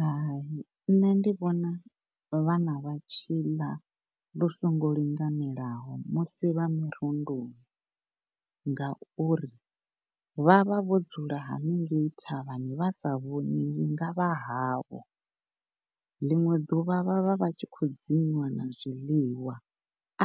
Hai, ṋne ndi vhona vhana vha tshi ḽa lu songo linganelaho musi vha mirunduni ngauri vhavha vho dzula hanengei thavhani vha sa vhoniwi nga vhaho ḽinwe ḓuvha vhavha vha tshi khou dzimiwa na zwiḽiwa